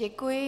Děkuji.